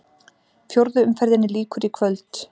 Fjórðu umferðinni lýkur í kvöld